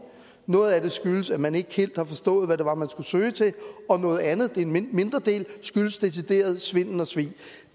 noget af det skyldes at man ikke helt har forstået hvad det var man skulle søge til og noget andet en mindre del skyldes decideret svindel og svig